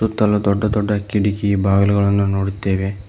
ಸುತ್ತಲು ದೊಡ್ಡ ದೊಡ್ಡ ಕಿಟಕಿ ಬಾಗಿಲುಗಳನ್ನು ನೋಡುತ್ತೇವೆ.